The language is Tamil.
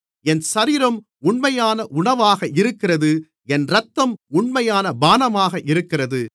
என் சரீரம் உண்மையான உணவாக இருக்கிறது என் இரத்தம் உண்மையான பானமாக இருக்கிறது